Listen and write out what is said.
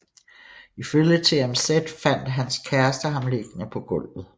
Ifølge TMZ fandt hans kæreste ham liggende på gulvet